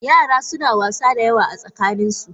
Yara suna wasa da yawa a tsakaninsu.